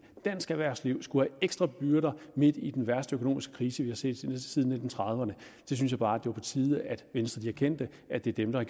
dansk erhvervsliv skulle ekstra byrder midt i den værste økonomiske krise vi har set siden nitten trediverne jeg synes bare det var på tide at venstre erkendte at det er dem der